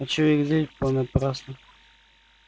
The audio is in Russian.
а чего их злить понапрасну